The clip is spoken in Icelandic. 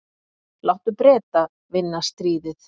Láttu Breta vinna stríðið.